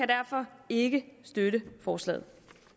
derfor ikke støtte forslaget